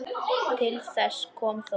Til þess kom þó ekki.